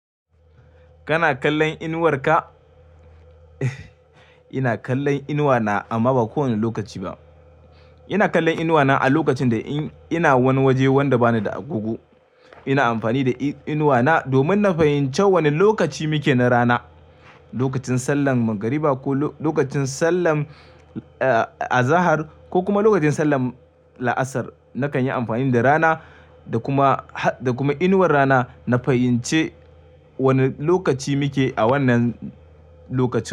Kana kallon inuwar ka? Ina kallon inuwata amma ba kowane lokaci ba. Ina kallon inuwata a lokacin da nake wani wuri inda bani da agogo. Ina amfani da inuwata domin in fahimci wane lokaci muke na rana. Lokacin sallar magriba ko lokacin sallar azahar ko kuma lokacin sallar laasar nakan yi amfani da rana da kuma inuwar rana na fahimci wane lokaci muke a wannan lokacin.